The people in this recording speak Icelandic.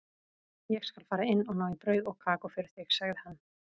Ég skal fara inn og ná í brauð og kakó fyrir þig, sagði hann.